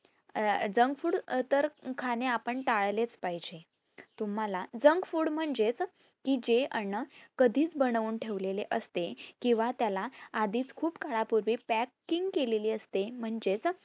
अह junk food तर खाणेआपण टाळलेच पाहिजे. तुम्हाला junk food म्हणजेच कि जे अन्न कधीच बनून ठेवलेले असेत, किंवा त्याला आधीच खूप काळा पूर्वी packing केलेली असते म्हणजेच